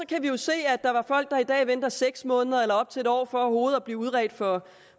kan vi jo se at der er folk der i dag venter seks måneder eller op til en år for overhovedet at blive udredt for